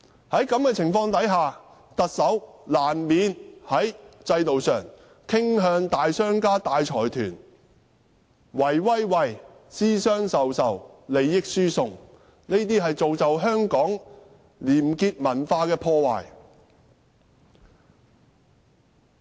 在這種情況下，特首難免在制度上傾向大商家和大財團，私相授受，利益輸送，破壞香港的廉潔文化。